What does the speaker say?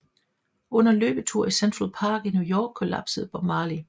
Under en løbetur i Central Park i New York kollapsede Bob Marley